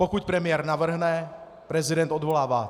Pokud premiér navrhne, prezident odvolává.